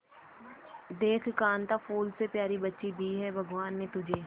देख कांता फूल से प्यारी बच्ची दी है भगवान ने तुझे